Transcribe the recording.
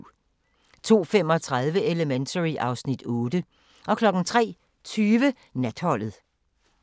02:35: Elementary (Afs. 8) 03:20: Natholdet